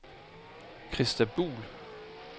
Christa Buhl